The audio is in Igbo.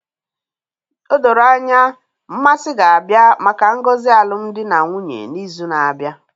O doro anya, Mmasi ga-abịa maka ngozi alụmdi na nwunye n'izu na-abịa